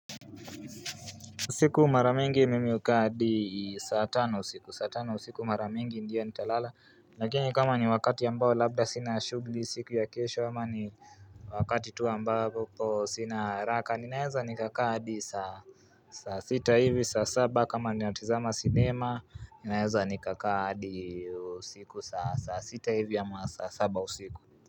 Siku mara mingi mimi ukaa hadi saa tano usiku, saa tano usiku maramingi ndiyo nitalala Lakini kama ni wakati ambao labda sina shughli siku ya kesho ama ni wakati tu ambao sina haraka Ninaeza nikakaa hadi saa sita hivi saa saba kama ninatazama sinema Ninaeza nikakaa hadi usiku saa sita hivi ama saa saba usiku.